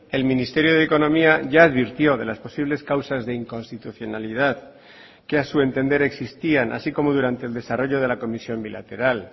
el ministerio de economía ya advirtió de las posibles causas de inconstitucionalidad que a su entender existían así como durante el desarrollo de la comisión bilateral